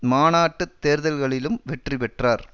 மாநாட்டுத் தேர்தல்களிலும் வெற்றி பெற்றார்